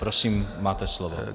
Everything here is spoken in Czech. Prosím, máte slovo.